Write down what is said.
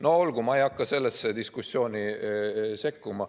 No olgu, ma ei hakka sellesse diskussiooni sekkuma.